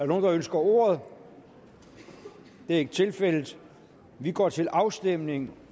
nogen der ønsker ordet det er ikke tilfældet så vi går til afstemning